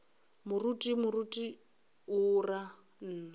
moruti moruti o ra nna